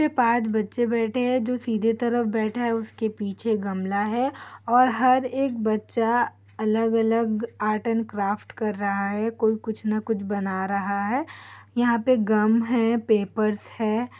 इसमें पाँच बच्चे बैठे हैं जो सीधे तरफ बैठा है उसके पीछे गमला हैं और हर एक बच्चा अलग अलग आर्ट एंड क्राफ्ट कर रहा हैं कोई कुछ न कुछ बना रहा हैं यहाँ पे गम हैं पेपर्स हैं।